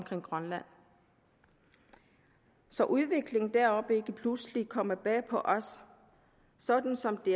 til grønland så udviklingen deroppe ikke pludselig kommer bag på os sådan som det